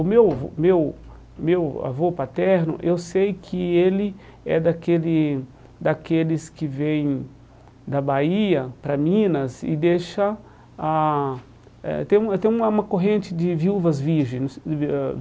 O meu meu meu avô paterno, eu sei que ele é daquele daqueles que vêm da Bahia para Minas e deixa ah eh... Tem uma tem uma uma corrente de viúvas virgens.